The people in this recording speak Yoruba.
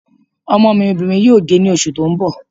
Ọmọ mi obìnrin yóò dé ní oṣù tó ń bọ̀